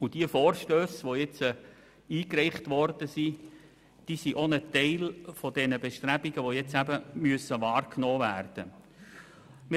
Die eingereichten Vorstösse sind ein Teil der Bestrebungen, die jetzt eben wahrgenommen werden müssen.